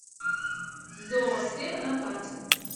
зоосфера на карте